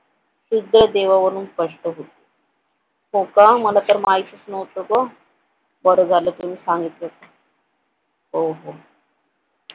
शुद्ध देवावरून स्पष्ट होते हो का मला तर माहितीच नव्हतं ग बर झालं तुम्ही सांगितलंत ते हो हो